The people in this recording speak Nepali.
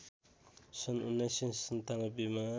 सन् १९९७ मा